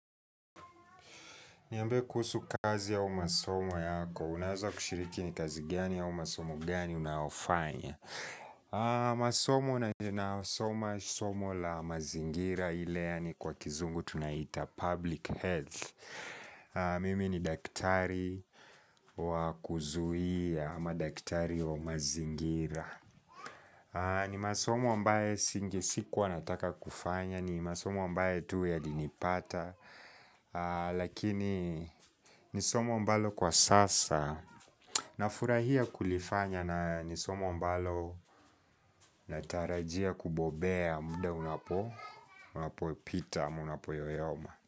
Niambe kuhusu kazi au masomo yako. Unaweza kushiriki ni kazi gani au masomo gani unaofanya? Masomo ninaosoma somo la mazingira hile yani kwa kizungu tunaita public health. Mimi ni daktari wa kuzuhia ama daktari wa mazingira. Ni masomo ambaye sikuwa nataka kufanya. Ni masomo ambaye tu yalinipata. Lakini ni somo ambalo kwa sasa Nafurahia kulifanya na ni somo mbalo natarajia kubobea muda unapopita, ama unapoyoyoma.